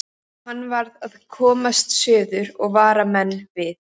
Hann varð að komast suður og vara menn við.